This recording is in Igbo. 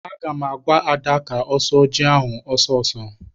Aga m agwa Ada ka ọ sụọ ji ahụ ọsọ ọsọ!